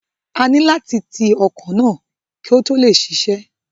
A ní láti ti ọkọ̀ náà kí ó tó lè ṣiṣẹ́.